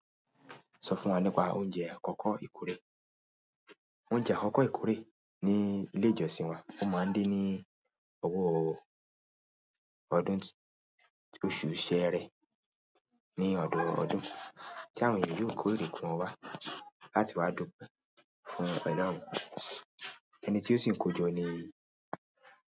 Sọ fún wa nípa oúnjẹ akọkọ ìkórè. Oúnjẹ akọkọ ìkórè ní ilé ìjọsìn wa, ó máa ń dé ní owó ọdún oṣù sẹẹrẹ ní ọdọọdún, tí àwọn ènìyàn yóò kó èrè kan wá láti wá dùpe fún Ọlọ́run, ẹni tí ó sì kojọ ni.